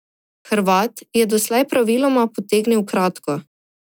Hrvat je doslej praviloma potegnil kratko.